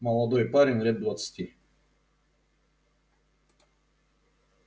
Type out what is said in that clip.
молодой парень лет двадцати